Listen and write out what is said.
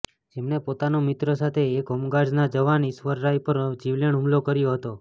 જેમણે પોતાના મિત્રો સાથે એક હોમગાર્ડના જવાન ઈશ્વરરાય પર જીવલેણ હુમલો કર્યો હતો